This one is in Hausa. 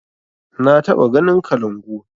Na taɓa ganin kalangu